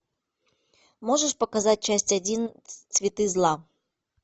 можешь показать часть один цветы зла